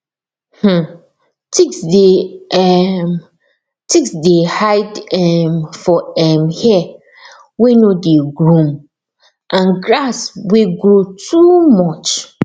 um ticks dey um ticks dey hide um for um hair wey no dey groom and grass wey grow too much